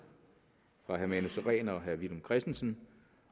fra herre manu sareen og herre villum christensen